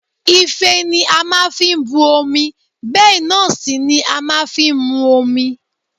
Ife ni a máa fi bu omi bẹ́ẹ̀ náà sì ni a máa fi ń mú omi